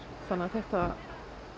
þannig að þetta